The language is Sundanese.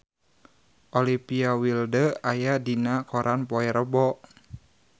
Olivia Wilde aya dina koran poe Rebo